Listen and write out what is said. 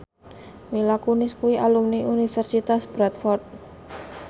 Mila Kunis kuwi alumni Universitas Bradford